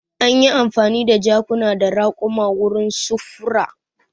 Anyi amfani da jakuna da raƙuma wurin sufuri.